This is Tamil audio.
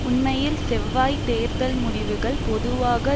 உண்மையில் செவ்வாய் தேர்தல் முடிவுகள் பொதுவாக